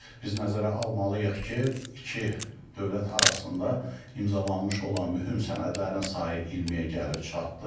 Biz nəzərə almalıyıq ki, iki dövlət arasında imzalanmış olan mühüm sənədlərin sayı 20-yə gəlib çatdı.